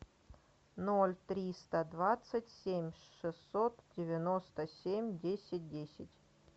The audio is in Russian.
ноль триста двадцать семь шестьсот девяносто семь десять десять